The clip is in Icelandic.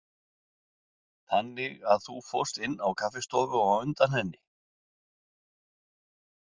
Þannig að þú fórst inn á kaffistofu á undan henni.